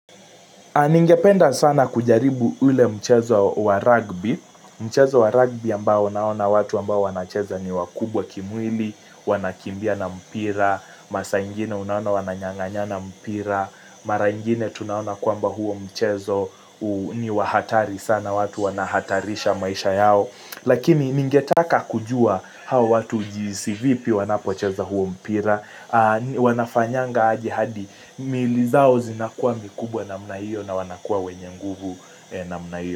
Ningependa sana kujaribu ule mchezo wa rugby. Mchezo wa rugby ambao unaona watu ambao wanacheza ni wakubwa kimwili, wanakimbia na mpira, masa ingine unaona wananyanganya na mpira, mara ingine tunaona kuamba huo mchezo ni wa hatari sana watu wanahatarisha maisha yao. Lakini ningetaka kujua hawa watu jinsi vipi wanapocheza huo mpira Wanafanyanga aje hadi Milili zao zinakuwa mikubwa namna hiyo na wanakuwa wenye nguvu namna hiyo.